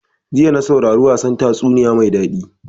Jiya na saurara wasan tatsuniya mai daɗi.